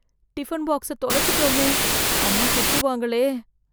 tiffin box தொலச்சிட்டோமே... அம்மா திட்டுவாங்களே..